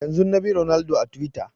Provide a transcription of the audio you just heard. Yanzun na bi Ronaldo a twitter